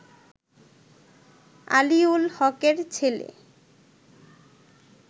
আলীউল হকের ছেলে